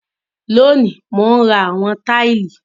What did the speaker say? Lónìí, mò ń ra àwọn táìlì